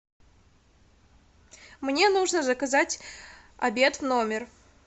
мне нужно заказать обед в номер